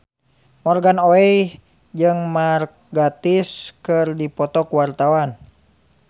Morgan Oey jeung Mark Gatiss keur dipoto ku wartawan